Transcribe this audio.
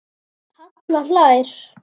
Þetta hefur verið fallegt sverð?